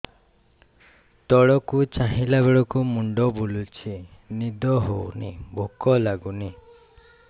ତଳକୁ ଚାହିଁଲା ବେଳକୁ ମୁଣ୍ଡ ବୁଲୁଚି ନିଦ ହଉନି ଭୁକ ଲାଗୁନି